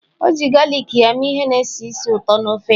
O ji galik ya mee ihe na-esi ísì ụtọ na ofe ya.